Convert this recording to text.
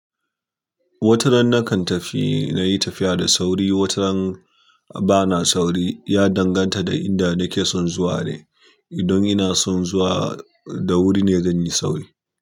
Wataran nakan tafi nayi tafiya da sauri, wataran bana sauri, ya danganta da inda nake son zuwa ne. Idan ina son zuwa da wuri ne zan yi sauri.